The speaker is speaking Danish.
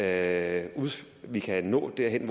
at vi kan nå derhen